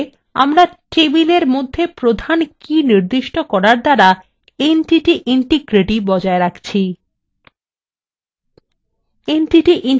আসলে আমরা টেবিলের মধ্যে প্রধান কী নির্দিষ্ট করার দ্বারা entity integrity বজায় রাখছি